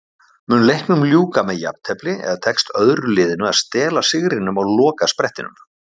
Mun leiknum ljúka með jafntefli eða tekst öðru liðinu að stela sigrinum á lokasprettinum?